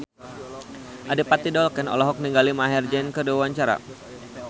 Adipati Dolken olohok ningali Maher Zein keur diwawancara